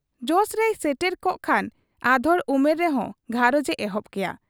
ᱡᱚᱥᱨᱮᱭ ᱥᱮᱴᱮᱨ ᱠᱚᱜ ᱠᱷᱟᱱ ᱟᱫᱷᱚᱲ ᱩᱢᱮᱨ ᱨᱮᱦᱚᱸ ᱜᱷᱟᱨᱚᱸᱡᱽ ᱮ ᱮᱦᱚᱵ ᱠᱮᱭᱟ ᱾